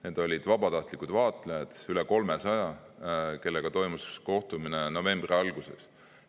Need olid vabatahtlikud vaatlejad, üle 300, kellega toimus kohtumine novembri alguses.